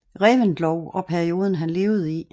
Reventlow og perioden han levede i